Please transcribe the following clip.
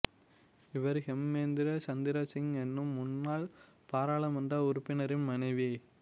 இவர் ஹேமேந்திர சந்திர சிங் என்னும் முன்னாள் பாராளுமன்ற உறுப்பினரின் மனைவி